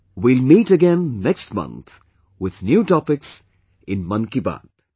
We will meet again next month with new topics in 'Mann Ki Baat'